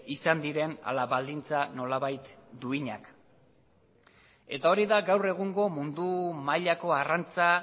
izan diren ala baldintza nolabait duinak eta hori da gaur egungo mundu mailako arrantza